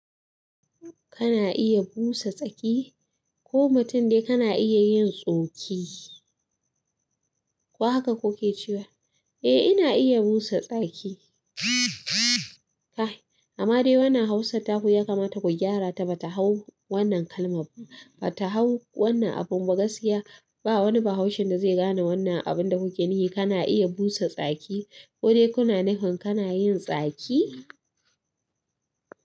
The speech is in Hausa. Kana iya busa tsaki ko mutum dai kana iya yin tsoki. Ko haka kuke cewa? Eh, ina iya busa tsaki. Kai. Amma dai wannan Hausar taku ya kamata ku gyara ta ba ta hau wannan kalm- ba ta hau wannan abun ba gaskiya. Ba wani Bahaushen da zai gane wannan abin da kuke nufi. Kana iya busa tsaki ko dai kuna nufin kana yin tsaki?